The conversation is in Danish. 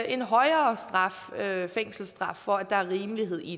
en højere fængselsstraf for at der er rimelighed i